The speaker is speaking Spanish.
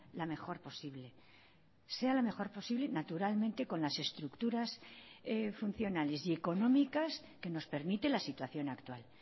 la mejor posible sea la mejor posible naturalmente con las estructuras funcionales y económicas que nos permite la situación actual